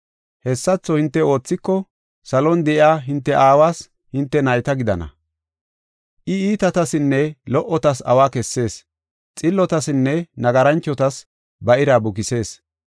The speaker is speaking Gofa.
Hessatho hinte oothiko, salon de7iya hinte aawas hinte nayta gidana. I iitatasinne lo77otas awa kessees; xillotasinne nagaranchotas ba ira bukisees.